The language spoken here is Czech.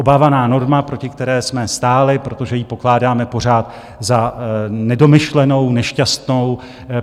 Obávaná norma, proti které jsme stáli, protože ji pokládáme pořád za nedomyšlenou, nešťastnou.